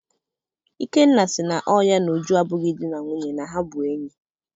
Ikenna sị na ọ ya na Uju abụghị dị na nwunye na ha bụ enyi.